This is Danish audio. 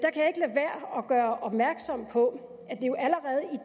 gøre opmærksom på